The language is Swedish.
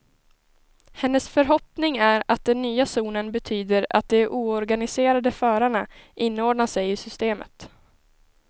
Hennes förhoppning är att den nya zonen betyder att de oorganiserade förarna inordnar sig i systemet.